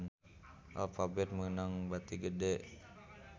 Alphabet meunang bati gede